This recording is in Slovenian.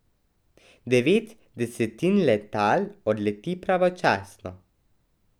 Devet desetin letal odleti pravočasno.